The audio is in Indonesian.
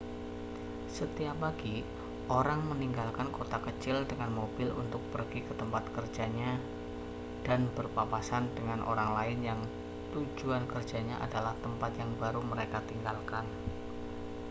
setiap pagi orang meninggalkan kota kecil dengan mobil untuk pergi ke tempat kerjanya dan berpapasan dengan orang lain yang tujuan kerjanya adalah tempat yang baru mereka tinggalkan